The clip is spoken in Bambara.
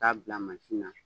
K'a bila mansin na